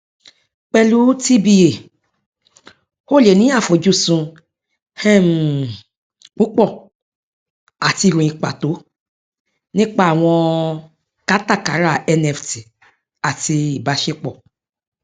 pẹlú tba o lè ní àfojúsùn um púpọ àti ìròyìn pàtó nípa àwọn kátàkárà nft àti ìbáṣepọ